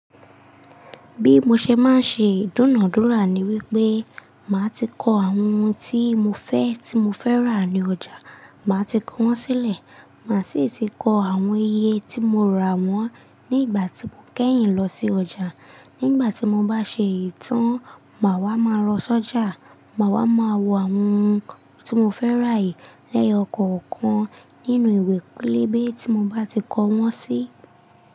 Bí mo ṣe máa ń ṣe ìdúnàádúrà ni wípé màá ti kọ àwọn ohun tí mo fẹ́, tí mo fẹ́ rà ní ọjà, màá ti kọ wọ́n sílẹ̀. Màá sì ti kọ àwọn iye tí mo rà wọ́n ní ìgbà tí mo kẹ́yìn lọ sí ọjà. Ní ìgbà tí mo bá ṣe eyi tàn, màá wá máa lọ sọ́jà. Màá wá máa wo àwọn ohun tí mo fẹ́ rà yìí lẹ́yọ̀kọ̀ọ̀kan nínú ìwé pélébé tí mo bá ti kọ wọ́n sí.